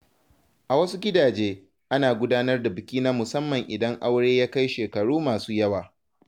A wasu gidaje, ana gudanar da biki na musamman idan aure ya kai shekaru masu yawa.